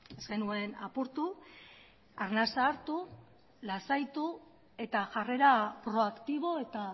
ez genuen apurtu arnasa hartu lasaitu eta jarrera proaktibo eta